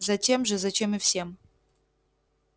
затем же зачем и всем